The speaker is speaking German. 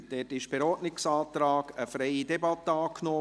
Dazu wurde per Ordnungsantrag eine freie Debatte angenommen.